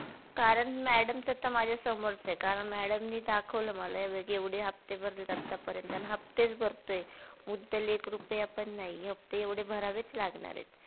कारण madam चं आता माझ्या समोरचं कार madam नी दाखवलं मला हे बघ एवढे हफ्ते भरलेत आता पर्यंत अन हफ्तेच भरतोय मुद्दल एक रुपया पण नाही फक्त एवढे भहरावेच लागणार आहे.